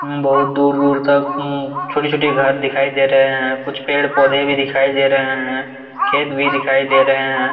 उम्म बहुत दूर-दूर तक ऊं छोटी-छोटी घर दिखाई दे रहे है कुछ पेड़ पौधे भी दिखाई दे रहे हैं खेत भी दिखाई दे रहे हैं।